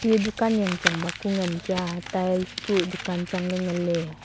dukan jang chang ba kua ngan kya tails kua dukan changley nganley.